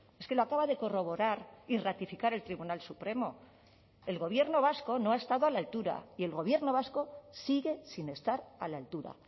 es que lo acaba de corroborar y ratificar el tribunal supremo el gobierno vasco no ha estado a la altura y el gobierno vasco sigue sin estar a la altura